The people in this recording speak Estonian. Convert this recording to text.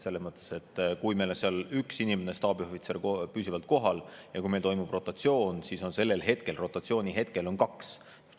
Selles mõttes, et kui meil on seal üks inimene staabiohvitserina püsivalt kohal ja toimub rotatsioon, siis on sellel rotatsiooni hetkel neid kaks.